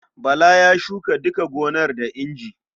Bala ya shuka duka gonar da inji.